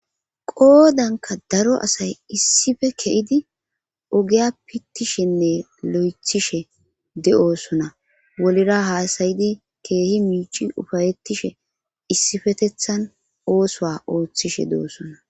Qoodanka daro assay issife ke"idi ogeya pittishenne lo"ethishe de"oosona wolira haasayidi keehi miici ufayetishe issifetethan oosoa ooththishe de"osona